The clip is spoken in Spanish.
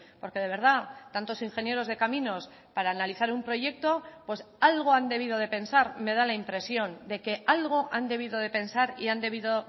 porque de verdad tantos ingenieros de caminos para analizar un proyecto pues algo han debido de pensar me da la impresión de que algo han debido de pensar y han debido